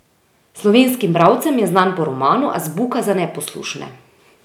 Slovenskim bralcem je znan po romanu Azbuka za neposlušne.